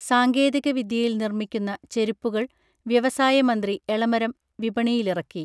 സാങ്കേതിക വിദ്യയിൽ നിർമിക്കുന്ന ചെരുപ്പുകൾ വ്യവസായമന്ത്രി എളമരം വിപണിയിലിറക്കി